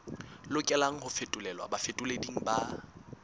lokelang ho fetolelwa bafetoleding ba